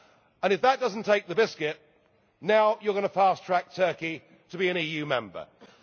and if that does not take the biscuit, now you are going to fast track Turkey to be an EU Member